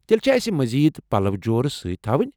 تیٚلہ چھا اَسہِ مزید پلو جورٕ سۭتۍ تھاوٕنۍ۔